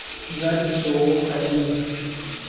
запись ооо хайлинк